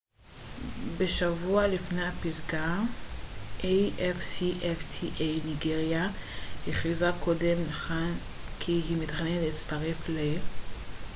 ניגריה הכריזה קודם לכן כי היא מתכננת להצטרף ל afcfta בשבוע לפני הפסגה